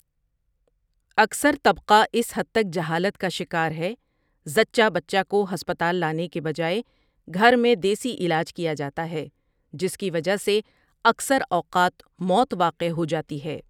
اکثر طبقہ اس حد تک جہالت کا شکار ہے ذچہ بچہ کو ہسپتال لانے کے بجائے گھر میں دیسی علاج کیا جاتا ہے جس کی وجہ سے اکثر اوقات موت واقع ہوجاتی ہے ۔